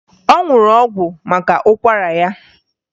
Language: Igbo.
Ọ ṅụrụ ọgwụ maka ụkwara ya